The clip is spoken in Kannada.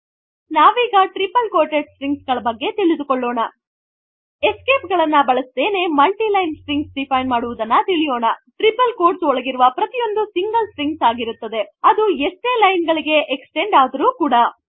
ನಾವೀಗ ಟ್ರಿಪಲ್ ಕ್ವೋಟೆಡ್ ಸ್ಟ್ರಿಂಗ್ಸ್ ಗಳ ಬಗ್ಗೆ ತಿಳಿದುಕೊಳ್ಳೋಣ ಎಸ್ಕೇಪ್ ಗಳನ್ನು ಬಳಸದೇನೆ multi ಲೈನ್ ಸ್ಟ್ರಿಂಗ್ಸ್ ಡಿಫೈನ್ ಮಾಡುವುದನ್ನು ತಿಳಿಯೋಣ ಟ್ರಿಪಲ್ ಕ್ವೋಟ್ಸ್ ಒಳಗಿರುವ ಪ್ರತಿಯೊಂದು ಸಿಂಗಲ್string ಆಗಿರುತ್ತದೆ ಅದು ಎಷ್ಟೇ ಲೈನ್ ಗಳಿಗೆ ಎಕ್ಸ್ಟೆಂಡ್ ಆದರೂ ಕೂಡ